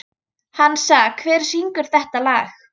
Hansa, hver syngur þetta lag?